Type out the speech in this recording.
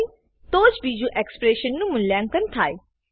હોય તો જ બીજું એક્સપ્રેશન નું મૂલ્યાંકન થાય